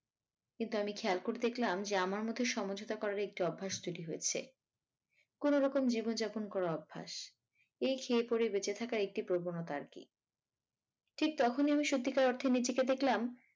কিন্তু আমি খেয়াল করে দেখলাম যে আমার মধ্যে সমঝোতা করার একটি অভ্যাস তৈরি হয়েছে কোনো রকম জীবন যাপন করার অভ্যাস এই খেয়ে পড়ে বেঁচে থাকার একটি প্রবণতা আরকি ঠিক তখনই আমি সত্যিকার অর্থে নিজেকে দেখলাম